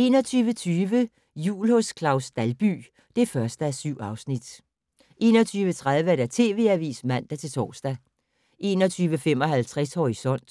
21:20: Jul hos Claus Dalby (1:7) 21:30: TV Avisen (man-tor) 21:55: Horisont